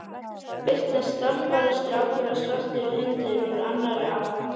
Svo birtast stálpaður strákur og svartur hundur úr annarri átt.